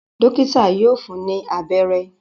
Dọ́kítá yóò fun ní abẹ́rẹ́.